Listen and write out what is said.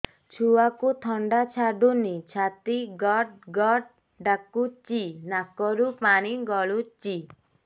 ଛୁଆକୁ ଥଣ୍ଡା ଛାଡୁନି ଛାତି ଗଡ୍ ଗଡ୍ ଡାକୁଚି ନାକରୁ ପାଣି ଗଳୁଚି